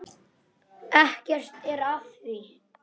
Ekkert er að því.